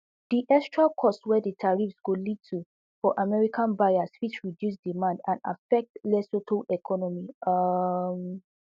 di extra costs wey di tariffs go lead to for american buyers fit reduce demand and affect lesotho economy um